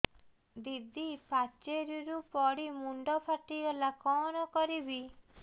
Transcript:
ଦିଦି ପାଚେରୀରୁ ପଡି ମୁଣ୍ଡ ଫାଟିଗଲା କଣ କରିବି